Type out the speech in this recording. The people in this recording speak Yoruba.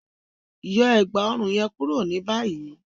Yọ ẹ̀gbá-ọ̀run yẹn kúrò ni bàyìí!